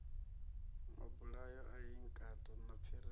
mabulayo a inkatha na pfiriri